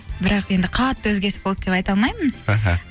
бірақ енді қатты өзгеріс болды деп айта алмаймын аха